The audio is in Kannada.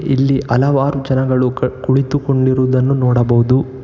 ಇಲ್ಲಿ ಹಲವಾರು ಜನಗಳು ಕುಳಿತುಕೊಂಡಿರುವುದನ್ನು ನೋಡಬಹುದು.